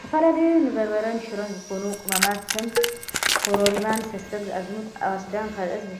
ዝተፈላለዩ ንበርበረን ሽሮን ዝኮኑ ቅመማት ከም ኮሮሪማን ሰሰግ፣ ኣዝሙት፣ ኣዋስዳን ካልኦትን